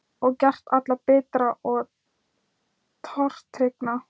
Og gert alla bitra og tortryggna.